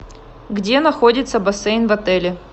где находится бассейн в отеле